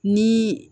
Ni